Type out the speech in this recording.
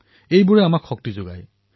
এয়াই আমাক শক্তি প্ৰদান কৰে